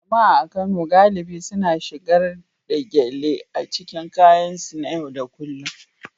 Jama'a a Kano galibi suna shigar da gele a cikin kayansu na yau da kullun